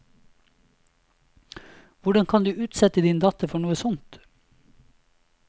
Hvordan kan du utsette din datter for noe sånt?